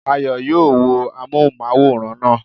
Ayọ̀ yóò wo amóhùnmáwòrán naa